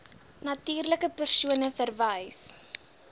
natuurlike persone verwys